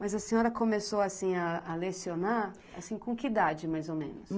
Mas a senhora começou assim a a lecionar assim, com que idade mais ou menos?